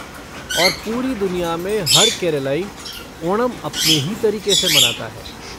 और पूरी दुनिया में हर केरलई ओणम अपने ही तरीक़े से मनाता है।